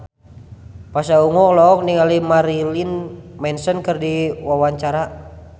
Pasha Ungu olohok ningali Marilyn Manson keur diwawancara